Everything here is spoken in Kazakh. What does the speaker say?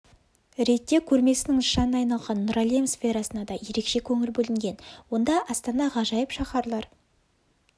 ретте көрмесінің нышанына айналған нұр әлем сферасына да ерекше көңіл бөлінген онда астана ғажайып шаһарлар